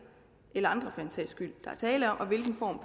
eller andre for den sags skyld der er tale om og hvilken form